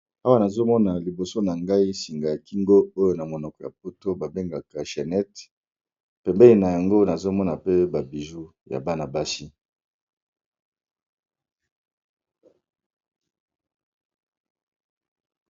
Awa, nazomona liboso na ngai singa ya kingo oyo na monoko ya lopoto poto babengaka chainete pembeni na yango nazomona pe ba biju ya bana-basi .